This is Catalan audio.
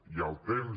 hi ha el temps